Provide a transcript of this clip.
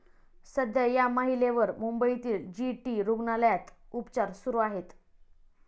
सध्या या महिलेवर मुंबईतील जी. टी. रुग्णालयात उपचार सुरू आहेत.